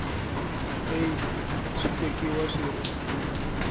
aids swi tekiwa swi ri